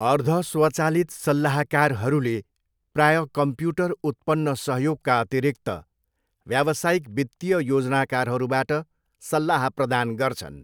अर्धस्वचालित सल्लाहकारहरूले प्राय कम्प्युटर उत्पन्न सहयोगका अतिरिक्त व्यावसायिक वित्तीय योजनाकारहरूबाट सल्लाह प्रदान गर्छन्।